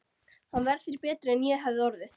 Hann var þér betri en ég hefði orðið.